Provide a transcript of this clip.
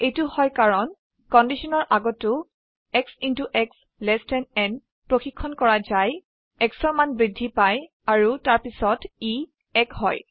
এইটত হয় কাৰণ কন্ডিশনৰ আগতো x x এলটি n প্ৰশিক্ষন কৰা যাই xৰ মান বৃদ্ধি পায় আৰু তাৰপিছত ই 1 হয়